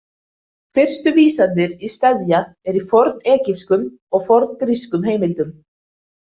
Fyrstu vísanir í steðja eru í fornegypskum og forngrískum heimildum.